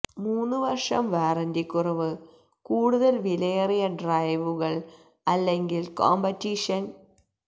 മൂന്നു വർഷം വാറന്റി കുറവ് കൂടുതൽ വിലയേറിയ ഡ്രൈവുകൾ അല്ലെങ്കിൽ കോംപറ്റീഷൻ ചില